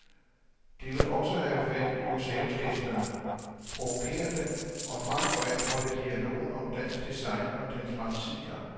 De vil også have fat i museumsgæsterne, provokere dem og frem for alt holde dialogen om dansk design og dens fremtid i gang.